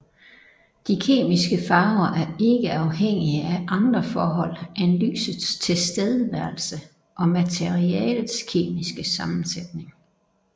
De kemiske farver er ikke afhængige af andre forhold end lysets tilstedeværelse og materialets kemiske sammensætning